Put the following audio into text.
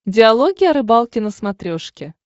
диалоги о рыбалке на смотрешке